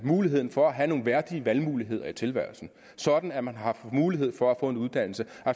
muligheden for at have nogle værdige valgmuligheder i tilværelsen sådan at man har mulighed for at få en uddannelse